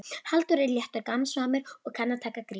Halldór er léttur og gamansamur og kann að taka gríni.